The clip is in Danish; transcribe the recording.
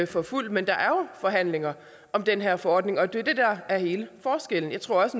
for fuld men der er jo forhandlinger om den her forordning og det er det der er hele forskellen jeg tror også